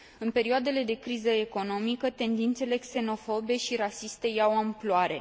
În perioadele de criză economică, tendințele xenofobe și rasiste iau amploare.